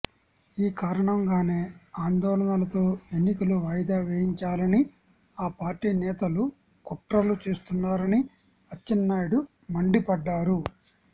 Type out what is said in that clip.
ఈ కారణంగానే ఆందోళనలతో ఎన్నికలు వాయిదా వేయించాలని ఆ పార్టీ నేతలు కుట్రలు చేస్తున్నారని అచ్చెన్నాయుడు మండిపడ్డారు